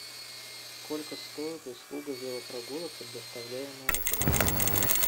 сколько стоит услуга велопрогулок предоставляемая отелем